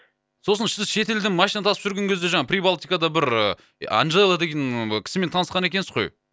сосын сіз шет елден машина тасып жүрген кезде жаңағы прибалтикада бір анжела деген і кісімен танысқан екенсіз ғой